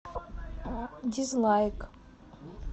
дизлайк